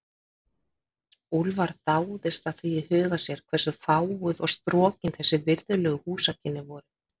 Úlfar dáðist að því í huga sér, hve fáguð og strokin þessi virðulegu húsakynni voru.